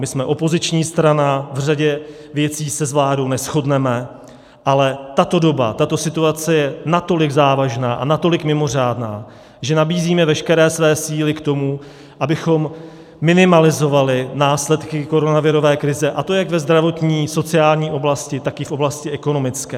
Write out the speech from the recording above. My jsme opoziční strana, v řadě věcí se s vládou neshodneme, ale tato doba, tato situace, je natolik závažná a natolik mimořádná, že nabízíme veškeré své síly k tomu, abychom minimalizovali následky koronavirové krize, a to jak ve zdravotní, sociální, oblasti, tak i v oblasti ekonomické.